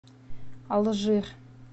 алжир